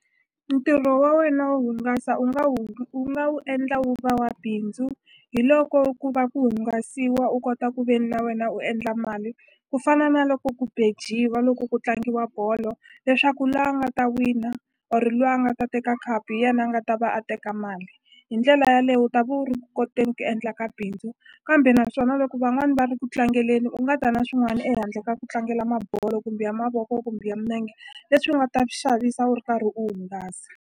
Ntirho wa wena wo hungasa u nga wu u nga wu endla wu va wa bindzu hi loko ku va ku hungasiwa u kota ku ve ni na wena u endla mali ku fana na loko ku bejiwa loko ku tlangiwa bolo leswaku la nga ta wina or la a nga ta teka khapu hi yena a nga ta va a teka mali hi ndlela yaleyo u ta vo koteni ku endla ka bindzu kambe naswona loko van'wani va ri ku tlangeleni u nga ta na swin'wana ehandle ka ku tlangela mabolo kumbe ya mavoko kumbe ya minenge leswi u nga ta swi xavisa u ri karhi u hungasa.